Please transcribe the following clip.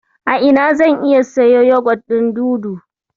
A ina zan iya siyo yagwat ɗin Dudu?